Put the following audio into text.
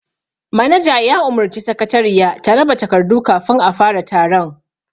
Manaja ya umurci sakatariya ta raba takardu kafin a fara taron